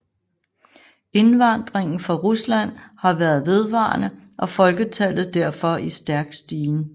Indvandringen fra Rusland har været vedvarende og folketallet derfor i stærk stigen